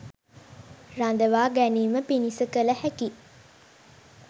රඳවා ගැනීම පිණිස කළ හැකි